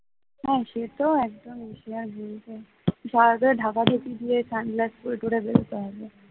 হ্যাঁ সেটা একদমই সে আর বলতে